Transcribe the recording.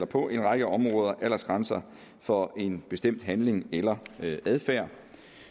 på en række områder aldersgrænser for en bestemt handling eller adfærd